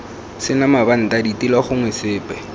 sena mabanta ditilo gongwe sepe